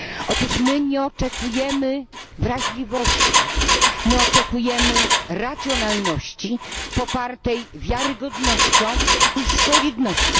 Otóż my nie oczekujemy wrażliwości, my oczekujemy racjonalności popartej wiarygodnością i solidnością.